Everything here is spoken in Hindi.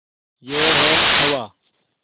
यह है हवा